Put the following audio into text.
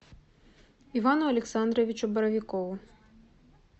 ивану александровичу боровикову